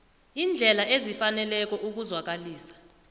iindlela ezifaneleko ukuzwakalisa